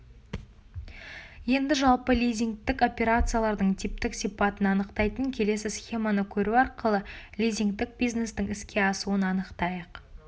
енді жалпы лизингтік операциялардың типтік сипатын анықтайтын келесі схеманы көру арқылы лизингтік бизнестің іске асуын анықтайық